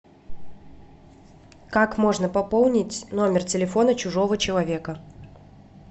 как можно пополнить номер телефона чужого человека